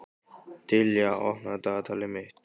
Dilja, opnaðu dagatalið mitt.